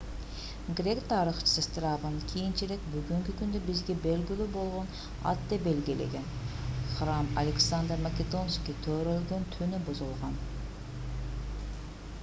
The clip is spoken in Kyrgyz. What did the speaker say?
грек тарыхчысы страбон кийинчерээк бүгүнкү күндө бизге белгилүү болгон атты белгилеген храм александр македонский төрөлгөн түнү бузулган